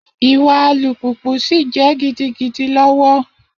Iwa Alùpùpù si jẹ gidigidi lọwọ.